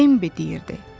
Bembi deyirdi.